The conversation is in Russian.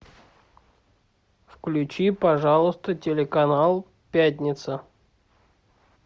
включи пожалуйста телеканал пятница